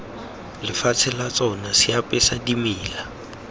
lefatshe la tsona seapesa dimela